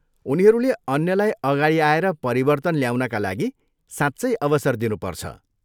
उनीहरूले अन्यलाई अगाडि आएर परिवर्तन ल्याउनका लागि साँच्चै अवसर दिनुपर्छ।